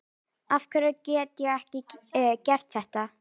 afhverju get ég ekki gert þetta